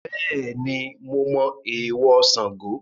Bẹ́ẹ̀ni mo mọ èèwọ̀ Sango